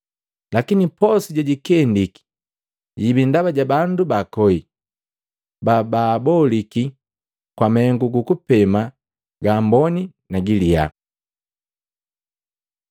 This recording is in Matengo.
Lakini posu jejikendiki jibii ndaba ja bandu baakoi, babaaboliki kwa mahengu kupema ga amboni na giliyaa.